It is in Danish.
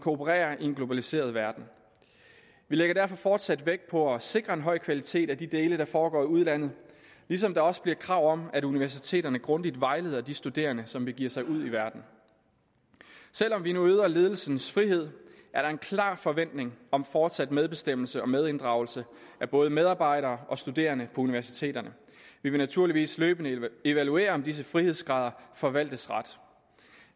operere i en globaliseret verden vi lægger derfor fortsat vægt på at sikre en høj kvalitet af de dele der foregår i udlandet ligesom der også bliver krav om at universiteterne grundigt vejleder de studerende som begiver sig ud i verden selv om vi nu øger ledelsens frihed er der en klar forventning om fortsat medbestemmelse og medinddragelse af både medarbejdere og studerende universiteterne vi vil naturligvis løbende evaluere om disse frihedsgrader forvaltes ret